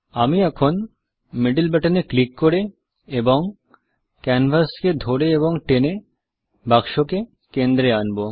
আমি এখন middle button এ ক্লিক করে এবং ক্যানভাসকে ধরে এবং টেনে বাক্সকে কেন্দ্রে আনব